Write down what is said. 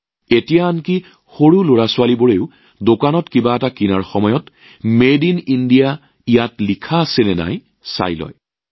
এতিয়া আমাৰ লৰাছোৱালীয়েও দোকানত কিবা কিনি থাকোঁতে মেড ইন ইণ্ডিয়াৰ নাম লিখা আছে নে নাই পৰীক্ষা কৰিবলৈ আৰম্ভ কৰিছে